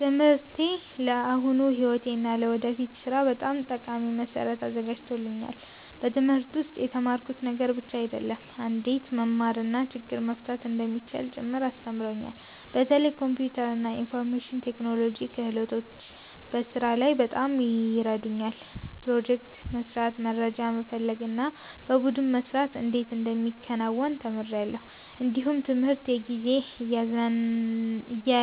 ትምህርቴ ለአሁኑ ሕይወቴ እና ለወደፊት ሥራ በጣም ጠቃሚ መሠረት አዘጋጅቶኛል። በትምህርት ውስጥ የተማርኩት ነገር ብቻ አይደለም፣ እንዴት መማር እና ችግር መፍታት እንደሚቻል ጭምር አስተምሮኛል። በተለይ የኮምፒውተር እና የኢንፎርሜሽን ቴክኖሎጂ ክህሎቶች በስራ ላይ በጣም ይረዱኛል። ፕሮጀክት መስራት፣ መረጃ መፈለግ እና በቡድን መስራት እንዴት እንደሚከናወን ተምሬአለሁ። እንዲሁም ትምህርት የጊዜ